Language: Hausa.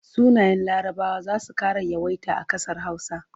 Sunayen Larabawa za su ƙara yawaita a ƙasar Hausa.